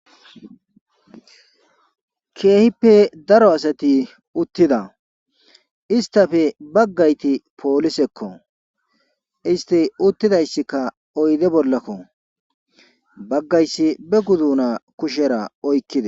keehippe daro asati uttida istafe baggayti poolisekko isti uttidayssikka oyde bollakko baggayssi be guduna kushera oykkida